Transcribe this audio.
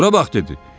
Bura bax, dedi.